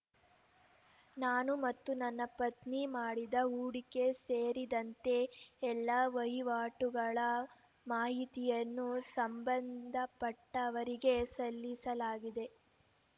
ನಾನು ಮತ್ತು ನನ್ನ ಪತ್ನಿ ಮಾಡಿದ ಹೂಡಿಕೆ ಸೇರಿದಂತೆ ಎಲ್ಲ ವಹಿವಾಟುಗಳ ಮಾಹಿತಿಯನ್ನು ಸಂಬಂಧಪಟ್ಟವರಿಗೆ ಸಲ್ಲಿಸಲಾಗಿದೆ